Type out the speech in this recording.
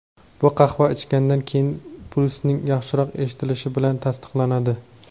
bu qahva ichgandan keyin pulsning yaxshiroq eshitilishi bilan tasdiqlanadi.